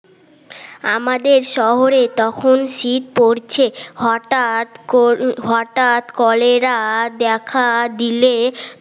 আমাদের শহরে তখন শীত পরছে হঠাৎ ক হঠাৎ কলেরা দেখা দিলে